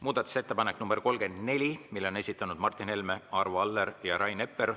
Muudatusettepaneku nr 34 on esitanud Martin Helme, Arvo Aller ja Rain Epler.